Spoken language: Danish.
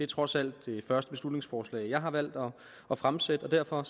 trods alt det første beslutningsforslag jeg har valgt at fremsætte og derfor